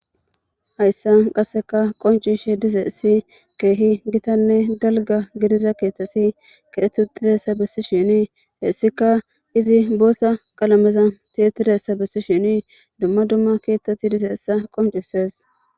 Hayssan qasekka qonccishe dizayssi keehi gitanne dalgga gidida ketati kexeti uttidayssa besishin hisikka izi boththa qalameza tiyetidayssa besishin dumma dumma keththati dizayssa qonccises